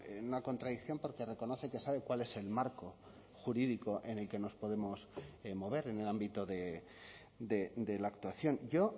en una contradicción porque reconoce que sabe cuál es el marco jurídico en el que nos podemos mover en el ámbito de la actuación yo